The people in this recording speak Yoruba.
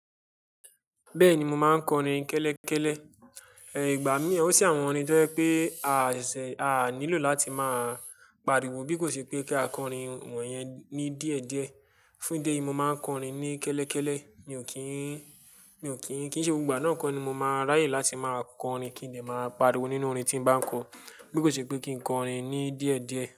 Bẹ́ẹ̀ni, mo máa ń kọrin kẹ́lẹ́kẹ́lẹ́. Ẹ̀, ìgbà mí, ó sì àwọn orin tí ó fẹ́ pé a ṣẹ̀, a nílò láti máa pariwo bí kò ṣe pé kí a kọrin wọ̀nyẹn ní díẹ̀díẹ̀. Fún ìdí èyí, mo máa ń kọrin ní kẹ́lẹ́kẹ́lẹ́. Mi ò kí ń, mi ò kí ń, kí n ṣe gbogbo ìgbà náà kọ́ ni mo máa ráyè láti máa kọrin kí n lè máa pariwo nínú orin tí n bá ń kọ. Bí kò ṣe pé kí n kọrin ní díẹ̀díẹ̀